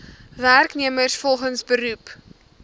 werknemers volgens beroep